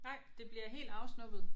Nej det bliver helt afsnubbet